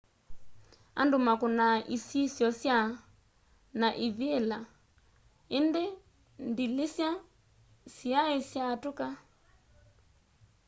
andu makunaa isisyo sya na ivila indi ndilisya siai syatuka